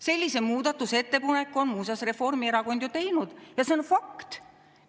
Sellise muudatusettepaneku on muuseas Reformierakond ju teinud ja see on fakt.